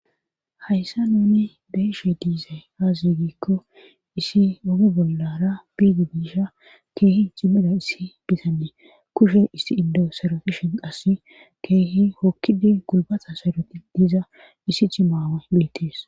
hayssa nuni beeshe diiza aazigikko issi ogi bollara biidi biisha keehi cimmira issi bizannee kushe issi indo serofishen qass keehi hokkide gulbata saroti diiza issi cimaawe beettes